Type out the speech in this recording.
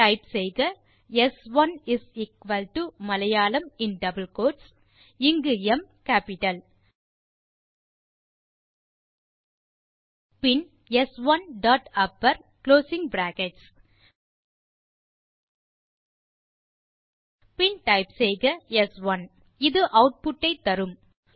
type செய்க ஸ்1 is equal to Malayalam in double quotes160 இங்கு ம் கேப்பிட்டல் பின் ஸ்1 டாட் அப்பர் பின் குளோசிங் பிராக்கெட்ஸ் பின் ஸ்1 ஆட்புட் ஐ தரும்